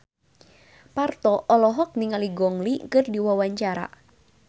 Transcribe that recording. Parto olohok ningali Gong Li keur diwawancara